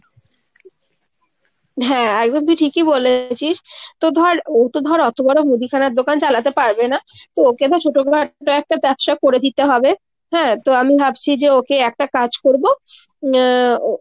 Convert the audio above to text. হ্যাঁ একদম তুই ঠিকই বলেছিস। তো ধর ওতো ধর অতো বড়ো মুদিখানার দোকান চালাতে পারবে না। তো ওকে তো ছোটোখাটো একটা ব্যবসা করে দিতে হবে। হ্যাঁ, তো আমি ভাবছি যে যাকে একটা কাজ করবো উম ও